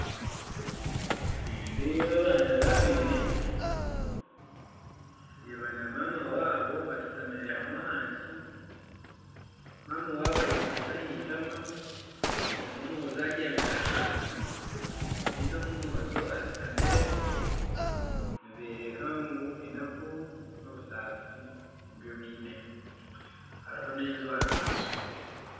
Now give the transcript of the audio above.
Nindeeba abaana babiri, ndeeba na maama waabo bashutamire hamwe ahansi, nyina waaba ayekwatsire aha itama, omwe omwojo abyamire ahansi ondiijo omwojo ashutami, nibooreka ngu enaku n'obusaasi nibyo baine kandi hariho n'enju aharubaju